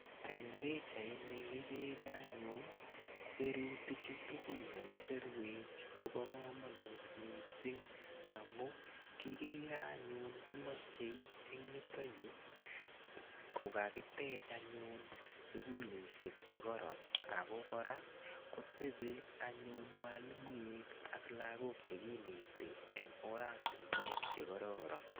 eng pichait ni igere anyun...sirutik chu kakisir ko bo kamanut amuigere eng yutakyu kokakitech sukulisyek che kororon ako kora kotepi mwalimuinik ak lagok che kineti eng oratinwek che kororon